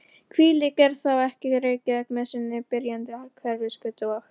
Hvílík er þá ekki Reykjavík með sinni byrjandi Hverfisgötu og